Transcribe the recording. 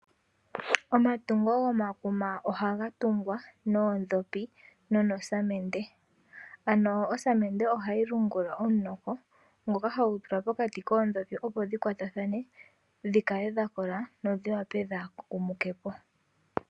Omatungo gomakuma ohaga tungwa noodhopi nonosamende ano osamende ohayi lungilwa omuntoko ngoka hagutulwa pokati koodhopi opo dhikwatathane dhikale dhakola dhodhi wape dhaakumuke po.